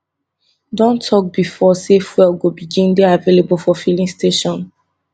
don tok bifor say fuel go begin dey available for filling stations